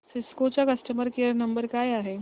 Cisco चा customer care number काय आहे